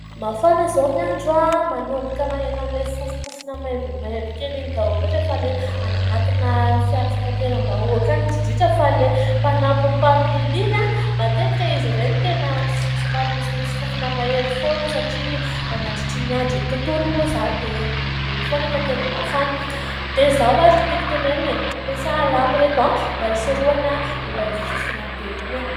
Mafana izao ny andro, manomboka maheno an'ilay fofompofona maimbomaimbo kely iny daholo rehefa ilay anatina fiara fitateram-bahoaka any. Indrindra fa ilay mpanampy ny mpamily iny, matetika izy ireny tena somary misimisy fofona mahery foana. Satria mandritra ny androny tontolo moa izany dia eny ambony eny foana, ka tena mafana. Dia izao ary no tiako tenenina, mampiasà alamo ry ireto a ! Mba hisorohana ilay fofona be iny.